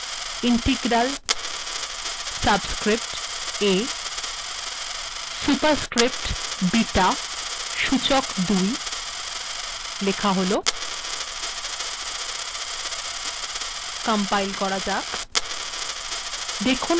integral integral subscript a superscript beta সূচক ২